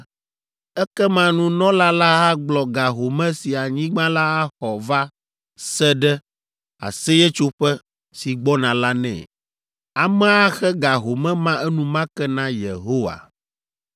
ekema nunɔla la agblɔ ga home si anyigba la axɔ va se ɖe Aseyetsoƒe si gbɔna la nɛ. Amea axe ga home ma enumake na Yehowa.